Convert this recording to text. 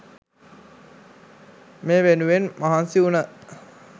මේ වෙනුවෙන් මහන්සි වුණ